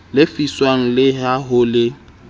lefiswang le ha ho le